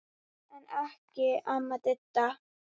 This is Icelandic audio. En ekki amma Didda.